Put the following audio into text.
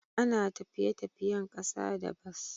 ana d tafiye-tafiyen kasa da bas.